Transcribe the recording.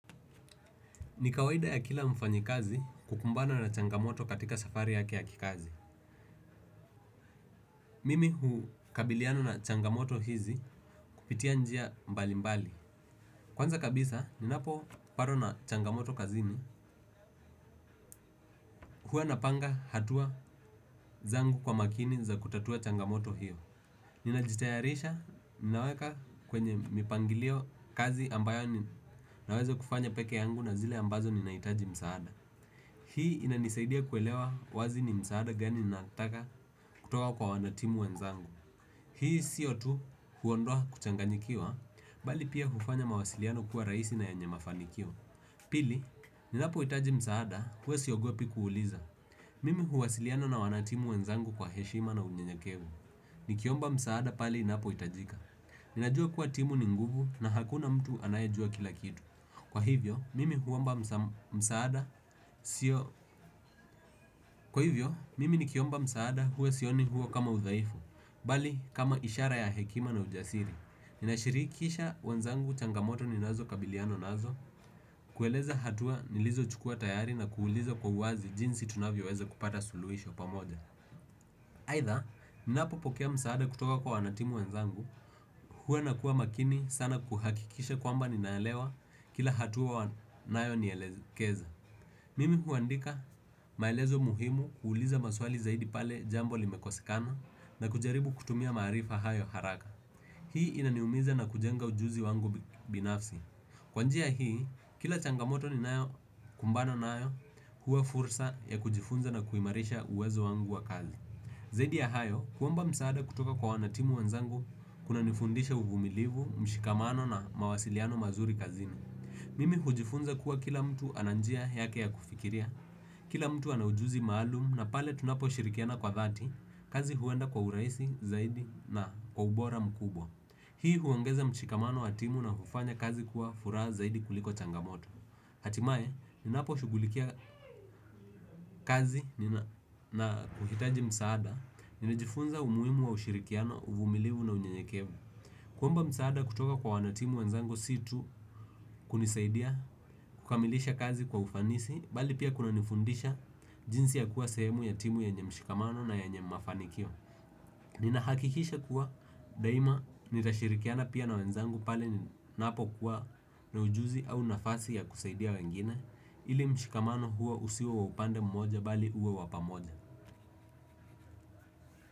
Ni kawaida ya kila mfanya kazi kukumbana na changamoto katika safari ya kia kikazi. Mimi hukabiliana na changamoto hizi kupitia njia mbali mbali. Kwanza kabisa, ninapopatwa na changamoto kazini huwa napanga hatua zangu kwa makini za kutatua changamoto hiyo. Ninajitayarisha, ninaweka kwenye mipangilio kazi ambayo ninaweza kufanya peke yangu na zile ambazo ninahitaji msaada. Hii inanisaidia kuelewa wazi ni msaada gani nataka kutoka kwa wanatimu wenzangu. Hii siyo tu huondoa kuchanganyikiwa, bali pia hufanya mawasiliano kuwa rahisi na yanye mafanikio. Pili, ninapo hitaji msaada, huwa siogopi kuuliza. Mimi huwasiliana na wanatimu wenzangu kwa heshima na unyenyekevu. Nikiomba msaada pale inapohitajika ninajua kuwa timu ni nguvu na hakuna mtu anayejua kila kitu, kwa hivyo mimi hu kwa hivyo, mimi ni kiomba msaada huwa sioni huo kama udhaifu, bali kama ishara ya hekima na ujasiri. Ninashirikisha wanzangu changamoto ninazokabiliana nazo, kueleza hatua nilizochukua tayari na kuuliza kwa uwazi jinsi tunavyoweza kupata suluhisho pamoja. Aidha, ninapopokea msaada kutoka kwa wanatimu wanzangu, huwa nakuwa makini sana kuhakikisha kwamba ninaelewa kila hatua wanayonielekeza. Mimi huandika maelezo muhimu kuuliza maswali zaidi pale jambo limekosekana na kujaribu kutumia maarifa hayo haraka. Hii inaniumiza na kujenga ujuzi wangu binafsi. Kwa njia hii, kila changamoto ninaayokumbana nayo huwa fursa ya kujifunza na kuimarisha uwezo wangu wa kazi. Zaidi ya hayo, kuomba msaada kutoka kwa wanatimu wanzangu kunanifundisha uvumilivu, mshikamano na mawasiliano mazuri kazini. Mimi hujifunza kuwa kila mtu ana njia yake ya kufikiria, kila mtu ana ujuzi maalum na pale tunaposhirikiana kwa dhati, kazi huenda kwa urahisi zaidi na kwa ubora mkubwa. Hii huongeza mchikamano wa timu na hufanya kazi kuwa furaha zaidi kuliko changamoto. Hatimaye, ninapo shughulikia kazi na kuhitaji msaada, ninajifunza umuhimu wa ushirikiano, uvumilivu na unyenyekevu. Kuomba msaada kutoka kwa wanatimu wanzangu situ kunisaidia kukamilisha kazi kwa ufanisi, bali pia kunanifundisha jinsi ya kuwa sehemu ya timu yenye mshikamano na nyenye mafanikio. Nina hakikisha kuwa daima nitashirikiana pia na wanzangu pale napokuwa na ujuzi au nafasi ya kusaidia wengine, ili mshikamano huwo usiwe wa upande mmoja bali uwe wa pamoja.